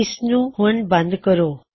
ਇਸਨੂੰ ਹੁਣ ਬੰਦ ਕਰੋ